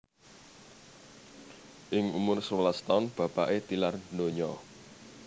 Ing umur sewelas taun bapaké tilar donya